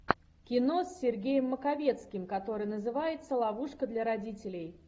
кино с сергеем маковецким которое называется ловушка для родителей